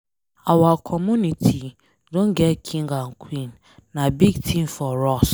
Our community don get King and Queen. Na big thing for us.